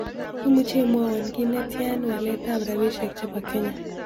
Imuche imwowon kiit netian waletab rabisiek chebo kenya